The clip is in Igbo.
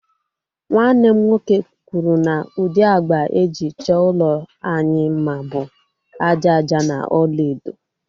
Nwanne m nwoke kwuru na ụdị agba e ji chọọ ụlọ anyị mma bụ ájá ájá na ọlaedo